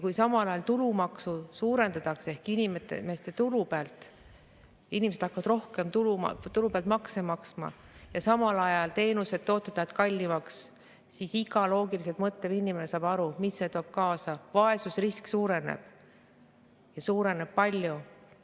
Kui suurendatakse tulumaksu ja inimesed hakkavad tulu pealt rohkem makse maksma, aga samal ajal lähevad teenused ja tooted kallimaks, siis iga loogiliselt mõtlev inimene saab aru, mis see kaasa toob – vaesusrisk suureneb ja suureneb palju.